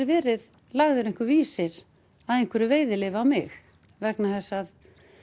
verið lagður einhver vísir að einhverju veiðileyfi á mig vegna þess að